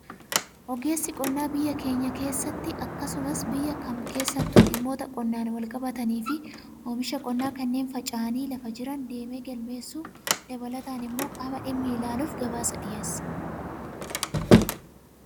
Ogeessi qonnaa biyya keenyaa keenya keessatti akkasumas biyya kam keessattuu dhimmoota qonnaan wal qabatanii fi oomisha qonnaa kanneen faca'anii lafa jiran deemee galmeessuu dabalataan immoo qaama dhimmi ilaaluuf gabaasa dhiyeessa.